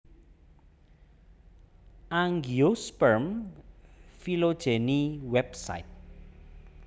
Angiosperm Phylogeny Website